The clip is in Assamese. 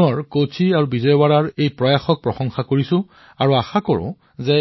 মই আকৌ এবাৰ কোচি আৰু বিজয়ৱাড়াৰ এই প্ৰচেষ্টাক প্ৰশংসা কৰিছো আৰু আশা কৰিছো যে